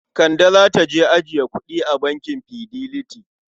Kande za ta je ajiye kuɗi a bankin Fidelity.